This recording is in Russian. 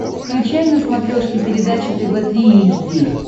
включай на смотрешке передачу тв три эйч ди